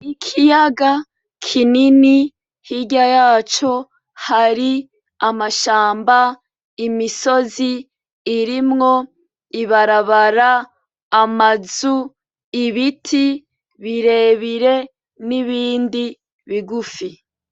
Ikiyaga kinini, hirya yaco hari amashamba, imisozi irimwo ibarabara, amazu, ibiti birere n'ibindi bigufi.